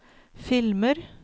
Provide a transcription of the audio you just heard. filmer